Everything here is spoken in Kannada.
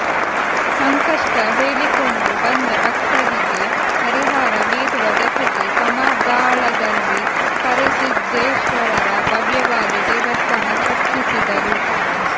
ಸಂಕಷ್ಟ ಹೇಳಿಕೊಂಡು ಬಂದ ಭಕ್ತರಿಗೆ ಪರಿಹಾರ ನೀಡುವ ಜತೆಗೆ ಕಮದಾಳದಲ್ಲಿ ಕರಿಸಿದ್ಧೇಶ್ವರರ ಭವ್ಯವಾದ ದೇವಸ್ಥಾನ ಕಟ್ಟಿಸಿದರು